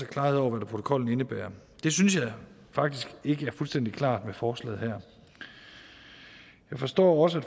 klarhed over hvad protokollen indebærer det synes jeg faktisk ikke er fuldstændig klart her forslag jeg forstår også